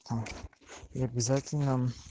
там и обязательно